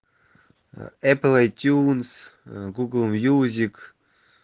эпл айтюнс гугл мьюзик